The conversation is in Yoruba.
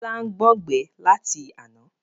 Bọlá ń gbọn gbẹ láti àná